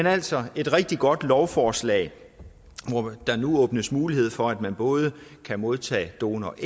er altså et rigtig godt lovforslag hvor der nu åbnes mulighed for at man både kan modtage donoræg